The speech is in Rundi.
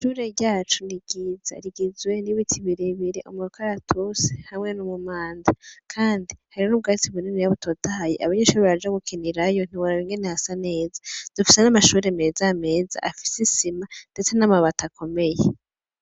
Ishure ryacu ni ryiza rigizwe n' ibiti bire bire umukaratusi hamwe n' umumanda kandi hari n' ubwatsi bininiya butotahaye kandi abanyeshure baraja gukinirayo ntiworaba ingene hasa neza dufise n' amashure meza meza ndetse n' amabati akomeye.